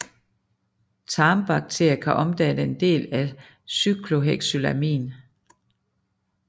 Tarmbakterier kan omdanne en del af cyclohexylamin